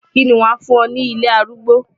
Kí ni wàá fún wọn ní ilé arúgbó?